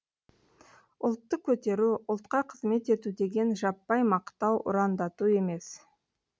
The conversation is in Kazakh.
ұлтты көтеру ұлтқа қызмет ету деген жаппай мақтау ұрандату емес